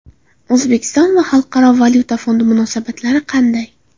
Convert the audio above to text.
O‘zbekiston va Xalqaro valyuta fondi munosabatlari qanday?